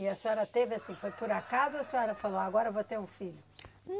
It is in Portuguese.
E a senhora teve assim, foi por acaso ou a senhora falou, agora eu vou ter um filho?